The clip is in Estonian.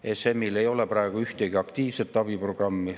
ESM‑il ei ole praegu ühtegi aktiivset abiprogrammi.